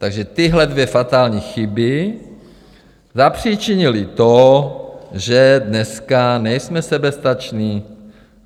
Takže tyhle dvě fatální chyby zapříčinily to, že dneska nejsme soběstační.